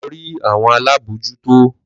Lọ rí àwọn alábòójútó.